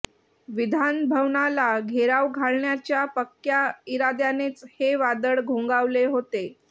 विधान भवनाला घेराव घालण्याच्या पक्क्या इराद्यानेच हे वादळ घोंघावले होते